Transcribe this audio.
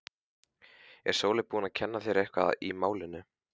Er Sóley búin að kenna þér eitthvað í málinu?